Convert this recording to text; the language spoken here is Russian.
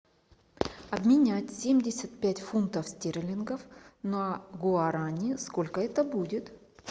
обменять семьдесят пять фунтов стерлингов на гуарани сколько это будет